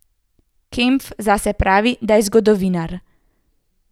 Kempf zase pravi, da je zgodovinar.